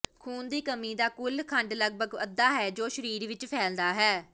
ਖੂਨ ਦੀ ਕਮੀ ਦਾ ਕੁਲ ਖੰਡ ਲਗਭਗ ਅੱਧਾ ਹੈ ਜੋ ਸਰੀਰ ਵਿਚ ਫੈਲਦਾ ਹੈ